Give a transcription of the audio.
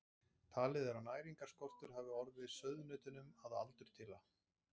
Talið er að næringarskortur hafi orðið sauðnautunum að aldurtila.